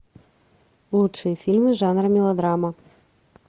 лучшие фильмы жанра мелодрама